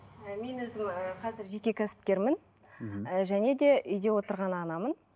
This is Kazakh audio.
і мен өзім ііі қазір жеке кәсіпкермін мхм және де үйде отырған анамын